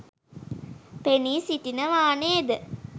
පෙනී සිටිනවා නේද?